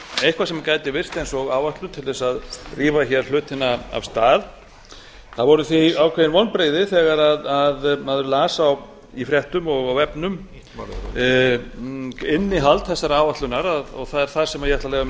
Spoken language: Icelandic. eitthvað sem gæti virst eins og áætlun til að rífa hlutina af stað það voru því ákveðin vonbrigði þegar maður las í fréttum og á vefnum innihald þessarar áætlunar og það er það sem ég ætla að